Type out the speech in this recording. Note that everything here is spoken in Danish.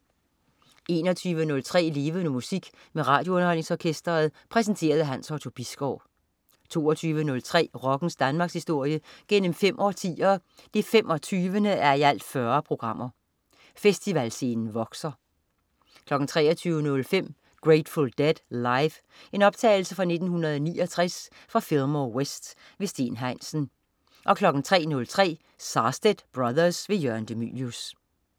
21.03 Levende Musik med RadioUnderholdningsOrkestret. Præsenteret af Hans Otto Bisgaard 22.03 Rockens Danmarkshistorie gennem fem årtier, 25:40. Festivalscenen vokser 23.05 Grateful Dead, live. Optagelse fra 1969 Fillmore West. Steen Heinsen 03.03 Sarstedt Brothers. Jørgen de Mylius